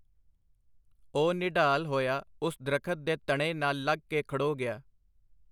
ਓਹ ਨਿਢਾਲ ਹੋਇਆ ਓਸ ਦਰਖ਼ਤ ਦੇ ਤਣੇ ਨਾਲ ਲੱਗ ਕੇ ਖੜੋ ਗਿਆ .